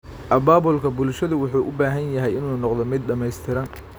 Abaabulka bulshadu wuxuu u baahan yahay inuu noqdo mid dhamaystiran.